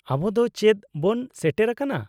-ᱟᱵᱚ ᱫᱚ ᱪᱮᱫ ᱵᱚᱱ ᱥᱮᱴᱮᱨᱟᱠᱟᱱᱟ ?